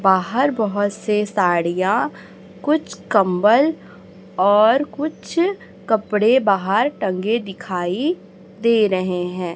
बाहर बहोत से साड़ियां कुछ कम्बल और कुछ कपड़े बाहर टंगे दिखाई दे रहे है।